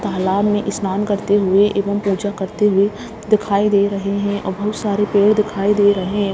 तालाब में स्नान करते हुए एवं पूजा करते हुए दिखाई दे रहें हैं और बहुत सारे पेड़ दिखाई दे रहें हैं।